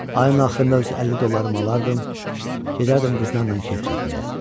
Ayın axırında öz 50 dollarımı alardım, gedərdim qızlarla kef çəkməyə.